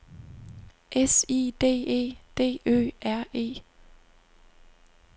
S I D E D Ø R E